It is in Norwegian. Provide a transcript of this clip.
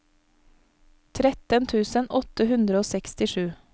tretten tusen åtte hundre og sekstisju